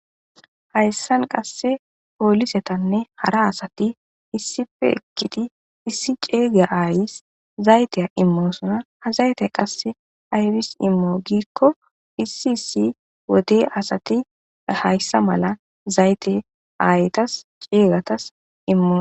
Hayssan qasse poolisetanne hara asati issippe eqqidi issi ceega aayeysi zayte immosona ha zayte qassi ayssi immo giikko issi issi wode asati hayssa mala zayte aayetasi ceegatasi immosona